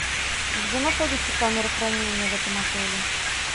где находится камера хранения в этом отеле